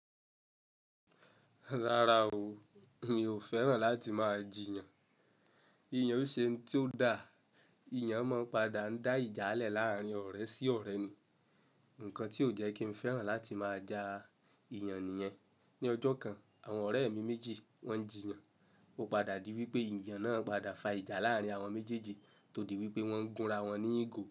Rárá o, mi ò fẹ́ràn láti máa jì yàn. Ìyàn ò ṣe ohun tó da. Ìyàn máa ń padà ń dá ìjà lẹ laarin ọ̀rẹ́ sí ọ̀rẹ́ ni. Nǹkan tí ò jẹ́ kí n fẹ́ràn láti máa ja ìyàn nìyẹn. Ni ọjọ́ kan, àwọn ọ̀rẹ́ mi méjì wọ́n jìyàn, ó padà di wípé ìyàn náà padà fa ìjà láàrin àwọn méjèèjì tó di wípé wọ́n gúnra wọn ní ìgò.